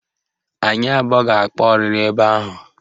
Anyị abụọ ga-akpa ọrịrị ebe ahụ